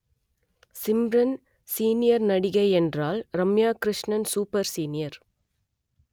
Simran senior நடிகை என்றால் Ramya Krishnan super senior